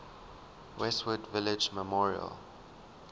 westwood village memorial